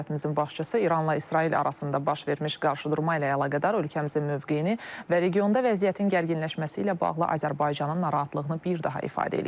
Dövlətimizin başçısı İranla İsrail arasında baş vermiş qarşıdurma ilə əlaqədar ölkəmizin mövqeyini və regionda vəziyyətin gərginləşməsi ilə bağlı Azərbaycanın narahatlığını bir daha ifadə eləyib.